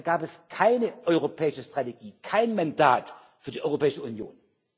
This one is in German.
Da gab es keine europäische Strategie, kein Mandat für die Europäische Union.